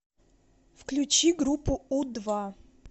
включи группу у два